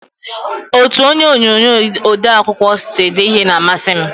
Otu onye onye ode akwụkwọ sị ede ihe n'amasi m